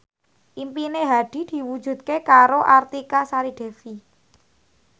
impine Hadi diwujudke karo Artika Sari Devi